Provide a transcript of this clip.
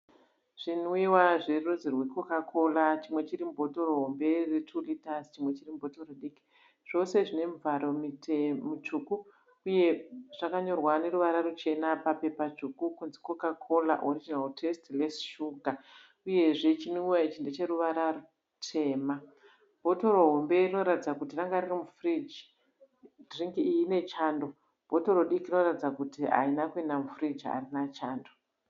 Zvinwiwa zverudzi rweCoca-Cola. Chimwa chiri mubhotoro hombe retuu rita. Chimwe chiri mubhotoro diki. Zvose zvine mivharo mitsvuku. Uye zvakanyorwa neruvara ruchena papepa dzvuku kunzi 'Coca-Cola Original Taste Less Sugar '. Uyezve chinwiwa ichi ndecheruvara rwutema. Bhotoro hombe rinoratidza kuti range riri mufiriji. Dhiringi iyi ine chando. Bhotoro diki rinoratidza kuti harina kuenda mufiriji. Harina chando.